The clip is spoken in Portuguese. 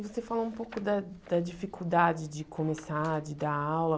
Você falou um pouco da da dificuldade de começar, de dar aula.